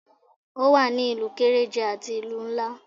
O wa ní ìlú kéréje àti ìlú nlá